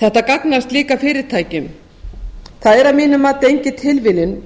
þetta gagnast líka fyrirtækjum það er að mínu mati engin tilviljun